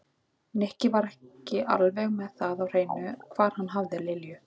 Nikki var ekki alveg með það á hreinu hvar hann hafði Lilju.